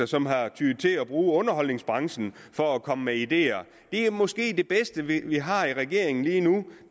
som har tyet til at bruge underholdningsbranchen for at komme med ideer det er måske det bedste vi har i regeringen lige nu